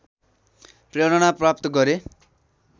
प्रेरणा प्राप्त गरे